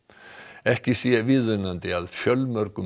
ekki sé viðunandi að fjölmörgum